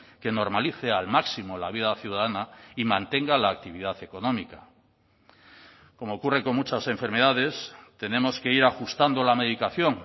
que normalice al máximo la vida ciudadana y mantenga la actividad económica como ocurre con muchas enfermedades tenemos que ir ajustando la medicación